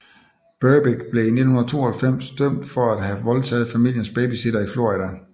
Berbick blev i 1992 dømt for at have voldtaget familiens babysitter i Florida